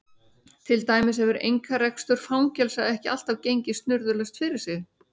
Til dæmis hefur einkarekstur fangelsa ekki alltaf gengið snurðulaust fyrir sig.